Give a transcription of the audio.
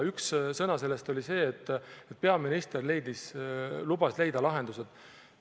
Üks osa sellest oli see, et peaminister lubas leida lahendused.